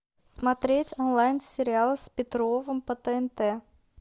смотреть онлайн сериал с петровым по тнт